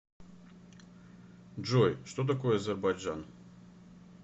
джой что такое азербайджан